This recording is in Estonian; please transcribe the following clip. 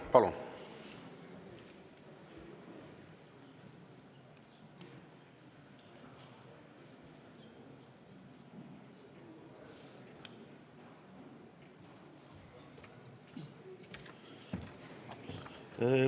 Palun!